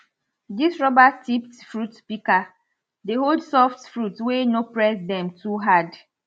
dis rubber tipped fruit pika dey hold soft fruit wey we no press dem too hard